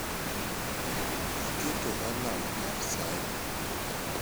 Iketo alam mar sa adi?